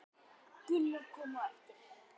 Gunnar kom á eftir.